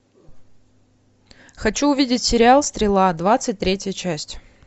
хочу увидеть сериал стрела двадцать третья часть